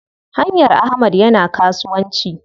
Haryan Ahmad yana kasuwanci.